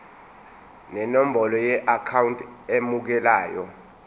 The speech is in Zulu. nenombolo yeakhawunti emukelayo